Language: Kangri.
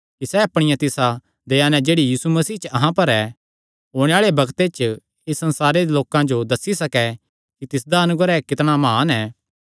कि सैह़ अपणिया तिसा दया नैं जेह्ड़ी यीशु मसीह च अहां पर ऐ ओणे आल़े बग्ते च इस संसारे दे लोकां जो दस्सी सकैं कि तिसदा अनुग्रह कितणा म्हान ऐ